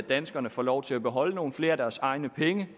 danskerne får lov til at beholde nogle flere af deres egne penge